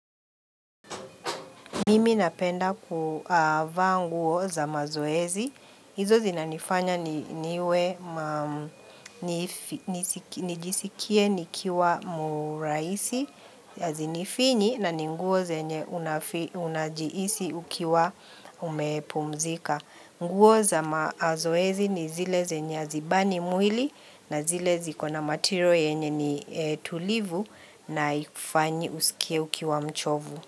Mimi napenda kuvaa nguo za mazoezi. Hizo zinanifanya niwe ma nijisikie nikiwa murahisi hazinifinyi na ninguo zenye unajihisi ukiwa umepumzika. Nguo za mazoezi ni zile zenye hazibani mwili na zile zikona matiro yenye ni tulivu na ikufanyi usikie ukiwa mchovu.